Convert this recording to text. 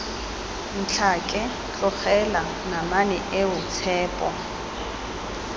ntlhake tlogela namane eo tshepo